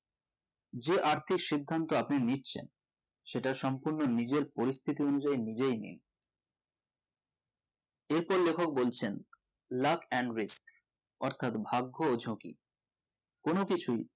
যে আর্থিক সিদ্ধান্ত আপনি নিচ্ছেন সেটা সম্পর্ণ নিজের পরিস্তিতি অনুযায়ী নিজেই নিন এর পর লেখক বলছেন law and which অর্থাৎ ভাগ্য ও ঝুঁকি কোনো কিছুই